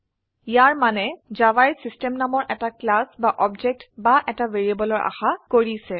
ইয়াৰ মানে জাভায়ে চিষ্টেম নামৰ এটা ক্লাস বা অবজেক্ট বা এটা ভ্যাৰিয়েবলৰ আশা কৰিছে